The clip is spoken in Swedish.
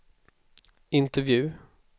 intervju